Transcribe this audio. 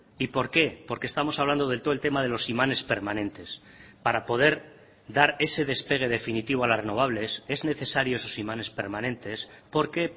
y por qué porque estamos hablando del todo el tema de los imanes permanentes para poder dar ese despegue definitivo a las renovables es necesario esos imanes permanentes porque